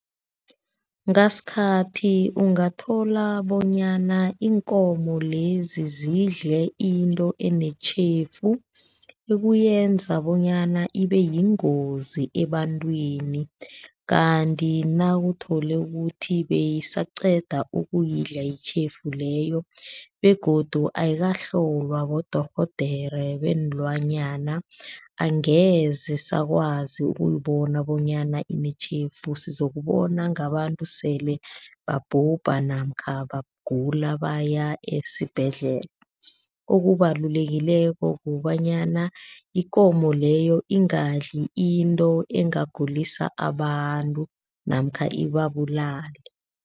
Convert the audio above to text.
Ngasikhathi ungathola bonyana iinkomo lezi zidle into enetjhefu ekuyenza bonyana ibeyingozi ebantwini, kanti nawuthole ukuthi beyisaqeda ukuyidla itjhefu leyo begodu ayikahlolwa bodorhodere beenlwanyana angeze sakwazi ukuyibona bonyana inetjhefu, sizokubona ngabantu sele babhubha namkha bagula baya esibhedlela. Okubalulekileko kobanyana yikomo leyo ingadli into engagulisa abantu namkha ibabulale.